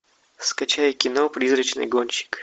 скачай кино призрачный гонщик